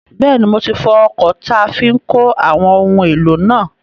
Bẹ́ẹ̀ni, mo ti fọ ọkọ̀ táa fi n kó àwọn ohun èlò náà